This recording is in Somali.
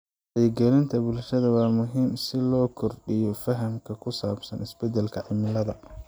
Wacyigelinta bulshada waa muhiim si loo kordhiyo fahamka ku saabsan isbedelka cimilada.